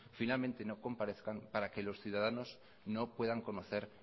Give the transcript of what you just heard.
finalmente no compadezcan para que los ciudadanos no puedan conocer